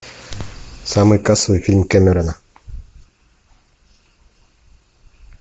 самый кассовый фильм кэмерона